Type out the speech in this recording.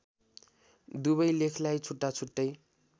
दुबै लेखलाई छुट्टा छुट्टै